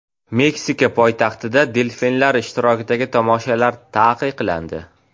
Meksika poytaxtida delfinlar ishtirokidagi tomoshalar taqiqlandi.